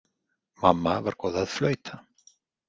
Mamma var góð að flauta.